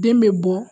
Den bɛ bɔ